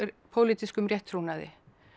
pólitískum rétttrúnaði